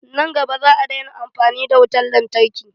Nan gaba, za a daina amfani da wutan lantarki.